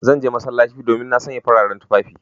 Zan je masallaci, domin na sanya fararen tufafina.